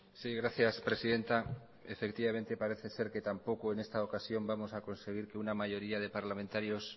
sí gracias presidenta efectivamente parece ser que tampoco en esta ocasión vamos a conseguir que una mayoría de parlamentarios